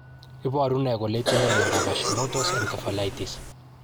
Iporu ne kole itinye miondap Hashimoto's encephalitis?